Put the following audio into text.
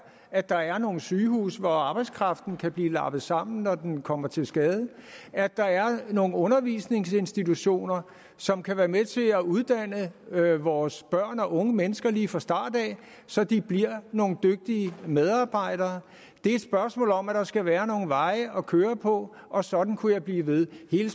at der er nogle sygehuse hvor arbejdskraften kan blive lappet sammen når den kommer til skade at der er nogle undervisningsinstitutioner som kan være med til at uddanne vores børn og unge mennesker lige fra starten så de bliver nogle dygtige medarbejdere det er et spørgsmål om at der skal være nogle veje at køre på og sådan kunne jeg blive ved hele